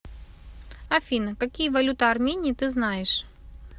афина какие валюта армении ты знаешь